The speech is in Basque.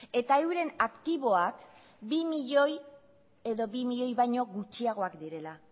eta euren aktiboak bi milioi edo bi milioi baino gutxiagoak direla